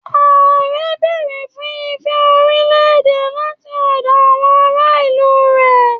Ààrẹ béèrè fún ìfẹ́ orílẹ̀-èdè láti ọ̀dọ̀ àwọn ará ìlú rẹ̀.